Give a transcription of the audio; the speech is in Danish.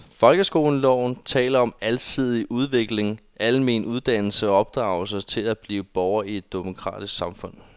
Folkeskoleloven taler om alsidig udvikling, almen dannelse og opdragelse til at blive borger i et demokratisk samfund.